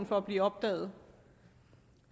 for at blive opdaget